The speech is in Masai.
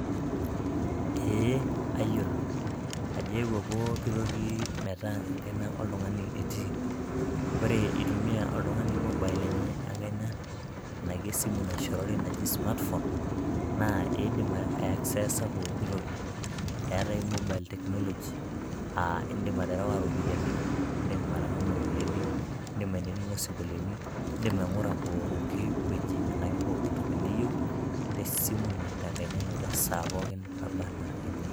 ee ayiolo ajo eewuo pookin toki metaa enkaina oltung'ani etiii. ore itumia oltungani mobile enye enkaina, tenaa kesimu nashorori smartphone naa idim akseesa pooki toki, eetae mobile technology aa idim aterewa iropiyiani, idim atang''amu iropiyiani idim ainining'o isinkolioni, idim aing'ura pooki wueji anaki pooki wueji tesimu tenkaina ino esaa pookin naba anaa eniyieu.